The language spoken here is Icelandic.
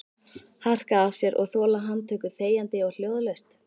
Harka af sér og þola handtöku þegjandi og hljóðalaust?